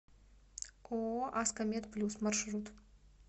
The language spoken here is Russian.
ооо аско мед плюс маршрут